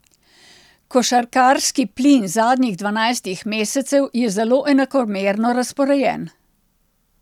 Košarkarski plin zadnjih dvanajstih mesecev je zelo enakomerno razporejen.